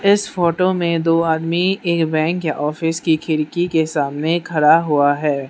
इस फोटो में दो आदमी एक बैंक या ऑफिस की खिड़की के सामने खड़ा हुआ है।